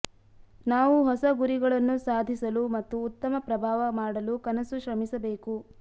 ನಾವು ಹೊಸ ಗುರಿಗಳನ್ನು ಸಾಧಿಸಲು ಮತ್ತು ಉತ್ತಮ ಪ್ರಭಾವ ಮಾಡಲು ಕನಸು ಶ್ರಮಿಸಬೇಕು